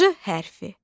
J hərfi.